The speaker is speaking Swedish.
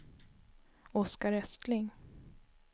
Oskar Östling